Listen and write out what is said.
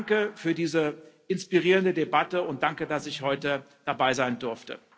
Danke für diese inspirierende Debatte und danke, dass ich heute dabei sein durfte.